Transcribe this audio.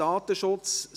7. Datenschutz